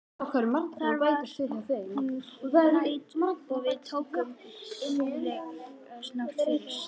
Þar var hún mæld og við tókum innleggsnótu fyrir.